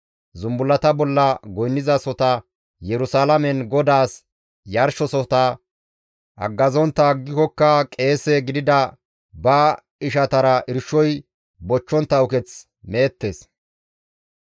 Zumbullata bolla goynnizasota Yerusalaamen GODAAS yarshosohota haggazontta aggikokka qeese gidida ba ishatara irshoy bochchontta uketh meettes.